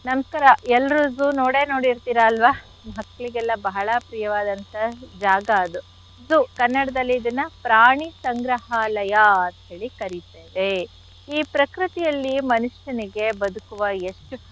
ನಮ್ಸ್ಕಾರ ಎಲ್ರಿಗೂ ನೋಡೇ ನೋಡಿರ್ತಿರ ಅಲ್ವಾ ಮಕ್ಳಿಗೆಲ್ಲ ಬಹಳ ಪ್ರಿಯವಾದಂಥ ಜಾಗ ಅದು zoo . ಕನ್ನಡ್ದಲ್ಲಿ ಇದನ್ನ ಪ್ರಾಣಿ ಸಂಗ್ರಹಾಲಯ ಅಂತ್ ಹೇಳಿ ಕರಿತೇವೆ. ಈ ಪ್ರಕೃತಿಯಲ್ಲಿ ಮನುಷ್ಯನಿಗೆ ಬದುಕುವ ಎಷ್ಟು.